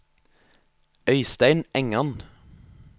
Øistein Engan